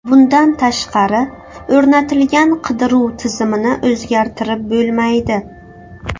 Bundan tashqari, o‘rnatilgan qidiruv tizimini o‘zgartirib bo‘lmaydi.